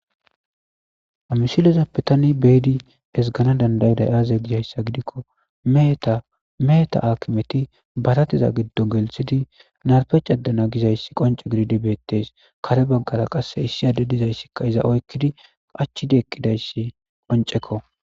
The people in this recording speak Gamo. Ha misilezappe tani beyidi ezigana dandayiday aze gizaysa gidikon meheta, meheta akimeti barateza gidongelithid narpe cadana gizaysi qonce gidid betes, kare bagara qase issi adey dizaysi iza oykid qachid eqidaysika qonceko